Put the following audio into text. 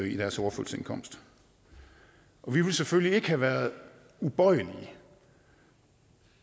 i deres overførselsindkomst vi ville selvfølgelig ikke have været ubøjelige